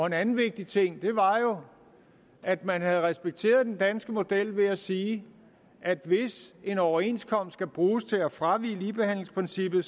en anden vigtig ting var jo at man havde respekteret den danske model ved at sige at hvis en overenskomst skal bruges til at fravige ligebehandlingsprincippet